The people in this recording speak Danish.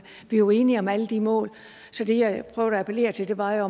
vi er jo enige om alle de mål så det jeg prøvede at appellere til var at